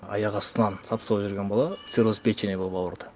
аяқ астынан сап сау жүрген бала цирроз печени болып ауырды